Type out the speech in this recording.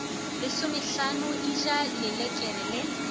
lesomehlano e ja lelekere le